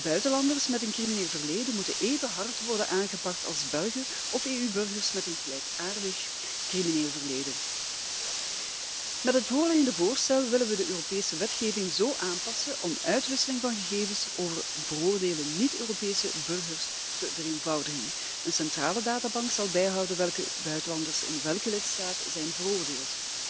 Buitenlanders met een crimineel verleden moeten even hard worden aangepakt als Belgen of EU burgers met een gelijkaardig crimineel verleden. Met het voorliggende voorstel willen we de Europese wetgeving zo aanpassen om uitwisseling van gegevens over veroordeelde niet Europese burgers te vereenvoudigen. Een centrale databank zal bijhouden welke buitenlanders in welke lidstaat zijn veroordeeld,